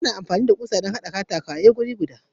Akan yi amfani da ƙusoshi wurin hada katakaye wuri guda.